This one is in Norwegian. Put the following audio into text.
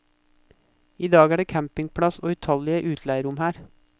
I dag er det campingplass og utallige utleierom her.